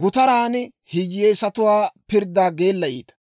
gutaran hiyyeesatuwaa pirddaa geellayiita.